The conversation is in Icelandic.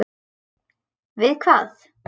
Við hvað?